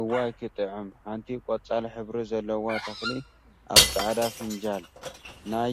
እዋይ ክትጥዕም! ሓንቲ ቆፃል ሕብሪ ዘለዋ ተክሊ አብ ፃዕዳ ፋንጃል ናይ